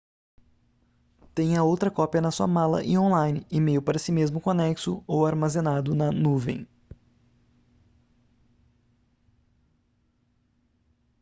tenha outra cópia na sua mala e online e-mail para si mesmo com anexo ou armazenado na nuvem”